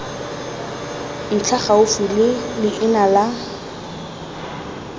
ntlha gaufi le leina la